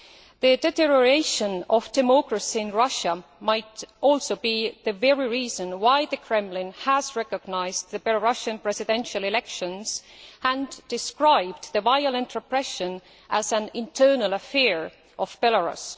The deterioration of democracy in Russia might also be the very reason why the Kremlin has recognised the Belarusian presidential elections and described the violent repression as an internal affair' of Belarus.